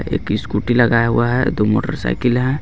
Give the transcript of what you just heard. एक इस्कूटी लगाया हुआ हे दो मोटरसाइकिल हे.